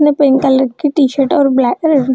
ने pink colour की T-shirt और ब्लैक --